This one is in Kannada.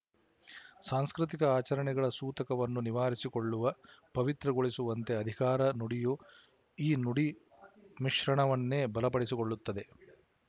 ಸಾಂಸ್ಕೃತಿಕ ಆಚರಣೆಗಳ ಸೂತಕವನ್ನು ನಿವಾರಿಸಿಕೊಳ್ಳುವ ಪವಿತ್ರಗೊಳಿಸುವಂತೆ ಅಧಿಕಾರ ನುಡಿಯು ಈ ನುಡಿ ಮಿಶ್ರಣವನ್ನೇ ಬಲಪಡಿಸಿಕೊಳ್ಳುತ್ತದೆ